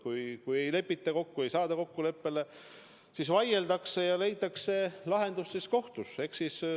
Kui ei lepita kokku, ei saada kokkuleppele, siis vaieldakse ja leitakse lahendus kohtus.